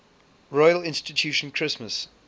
royal institution christmas